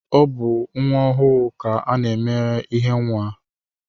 Ọ bụ nwa ọhụụ ka a na-emere ihe nwa